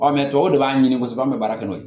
tɔw b'a ɲini kosɛbɛ an bɛ baara kɛ n'o ye